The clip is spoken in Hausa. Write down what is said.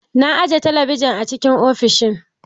Na aje talabijin a cikin ofishin